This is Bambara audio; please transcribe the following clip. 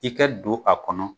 I kɛ don a kɔnɔ